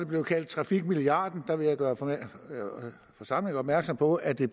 blevet kaldt trafikmilliarden der vil jeg gøre forsamlingen opmærksom på at det